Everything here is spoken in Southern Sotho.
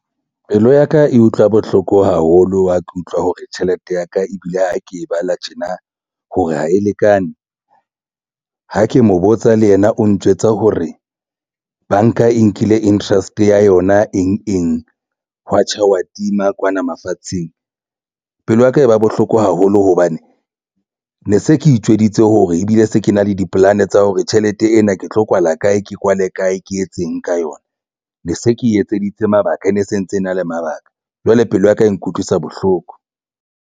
Pelo ya ka e utlwa bohloko haholo ha ke utlwa hore tjhelete ya ka ebile ha ke e bala tjena hore ha e lekane ha ke mo botsa le yena o ntjwetsa hore banka e nkile interest ya yona eng eng. Hwa tjha hwa tima kwana mafatsheng pelo ya ka e ba bohloko haholo hobane ne se ke itjweditse hore ebile se ke na le dipolane tsa hore tjhelete ena ke tlo kwala kae ke kwale kae ke etseng ka yona ne se ke etseditse mabaka e ne se ntse e na le mabaka. Jwale pelo ya ka e nkutlwisa bohloko.